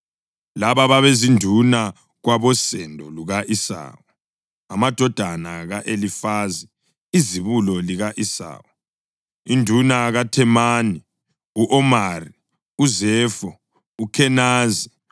Laba babezinduna kwabosendo luka-Esawu: Amadodana ka-Elifazi izibulo lika-Esawu: Induna uThemani, u-Omari, uZefo, uKhenazi,